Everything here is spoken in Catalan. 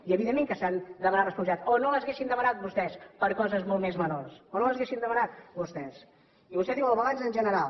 i evidentment que s’han de demanar responsabilitats o no les haurien demanades vostès per coses molt més menors o no les haurien demanat vostès i vostè diu el balanç en general